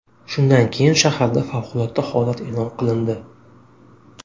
Shundan keyin shaharda favqulodda holat e’lon qilindi.